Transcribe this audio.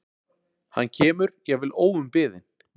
Hann kemur, jafnvel óumbeðinn.